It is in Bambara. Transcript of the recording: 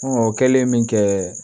o kɛlen min kɛ